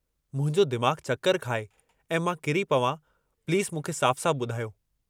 मुंहिंजो दिमाग़ चकर खाए ऐं मां किरी पवां प्लीज़ मूंखे साफ़ साफ़ु बुधायो।